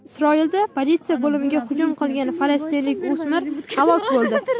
Isroilda politsiya bo‘limiga hujum qilgan falastinlik o‘smir halok bo‘ldi.